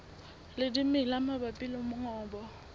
le dimela mabapi le mongobo